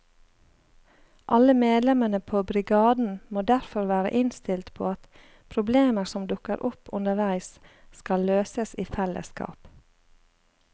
Alle medlemmene på brigaden må derfor være innstilt på at problemer som dukker opp underveis skal løses i fellesskap.